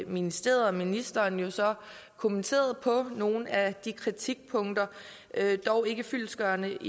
ministeriet og ministeren så kommenteret nogle af de kritikpunkter dog ikke fyldestgørende